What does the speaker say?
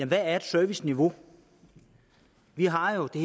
hvad er et serviceniveau vi har jo det